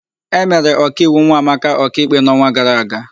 E mere Ọkaiwu Nwamaka ọkaikpe n'ọnwa gara aga.